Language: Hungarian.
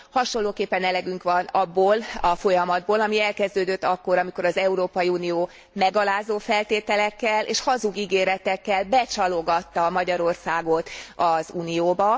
Hasonlóképpen elegünk van abból a folyamatból, ami elkezdődött akkor, amikor az Európai Unió megalázó feltételekkel és hazug ígéretekkel becsalogatta Magyarországot az Unióba.